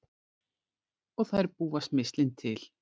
Og þær búa smyrslin til.